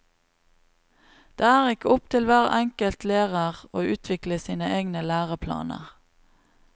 Det er ikke opp til hver enkelt lærer å utvikle sine egne læreplaner.